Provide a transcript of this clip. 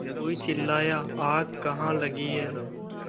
कोई चिल्लाया आग कहाँ लगी है